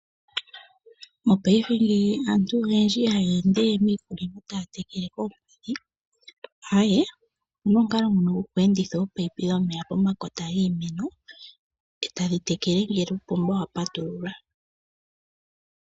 Mopaife ngeyi aantu oyendji ihaya ende we miikunino taya tekele koompadhi, aaye, opu na omukalo ngono goku enditha oopaipi pomakota giimeno e tadhi tekele ngele uupomba wa patululwa.